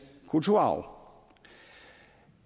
kulturarv